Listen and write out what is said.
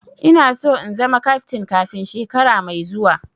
Ina so in zama kaftin kafin shekara mai zuwa